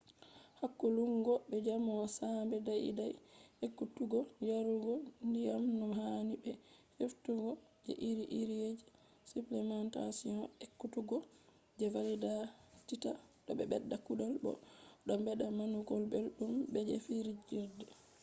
hakkulungo be jamo sambe dai dai ekkutuggo yarugo diyam no hani be heftugo je iri iri jresupplementation ekkutuggo je valititta do bedda kugal bo do bedda nanugo beldum be je fijirde